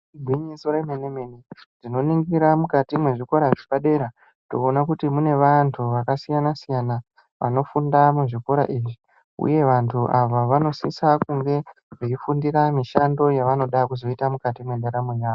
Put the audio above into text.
Igwinyiso remene mene tinoningira mukati mezvikora zvepadera toona kuti mune vantu vakasiyana siyana vanofunda muzvikora izvi uye vantu vanosisa kunge Veifundira mishando yavanoda kuzoita mukati mendaramo yavo.